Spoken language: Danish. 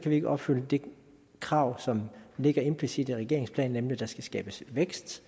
vi ikke opfylde det krav som ligger implicit i regeringsplanen nemlig at der skal skabes vækst